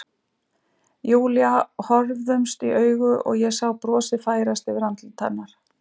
Júlía horfðumst í augu og ég sá brosið færast yfir andlit hennar.